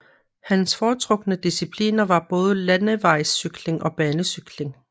Hans foretrukne discipliner var både landevejscykling og banecykling